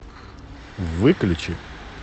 выключи